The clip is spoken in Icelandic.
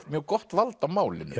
mjög gott vald á málinu